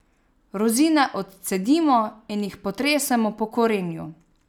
Rozine odcedimo in jih potresemo po korenju.